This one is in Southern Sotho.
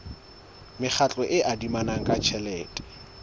mekgatlo e adimanang ka tjhelete